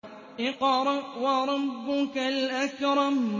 اقْرَأْ وَرَبُّكَ الْأَكْرَمُ